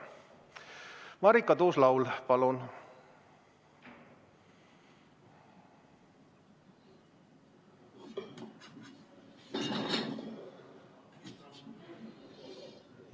Marika Tuus-Laul, palun!